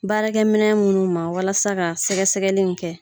Baarakɛ minɛn munnu ma walasa ka sɛgɛ sɛgɛli in kɛ.